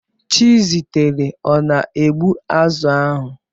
Chizitere ọ na-egbu azụ̀ ahụ?